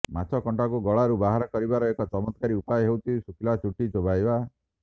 ମାଛକଣ୍ଟାକୁ ଗଳାରୁ ବାହାର କରିବାର ଏକ ଚତ୍ମତକାରୀ ଉପାୟ ହେଉଛି ଶୁଖିଲା ରୁଟି ଚୋବାଇବା